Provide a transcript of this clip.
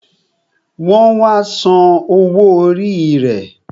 Wọn wá san owó orí rẹ